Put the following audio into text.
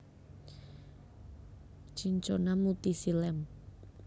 Cinchona mutisii Lamb